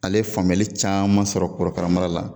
Ale ye faamuyali caman sɔrɔ korokarama la.